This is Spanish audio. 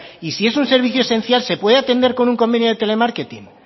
y si es un servicio esencial se puede atender con un convenio de telemarketing